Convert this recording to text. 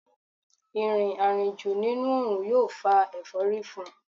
Ìrìn àrìnjù nínú òòrùn yóò fa ẹ̀fọ́rí fún un